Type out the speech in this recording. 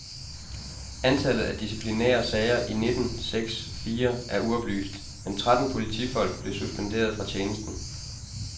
Antallet af disciplinære sager i nitten seks fire er uoplyst, men tretten politifolk blev suspenderet fra tjenesten.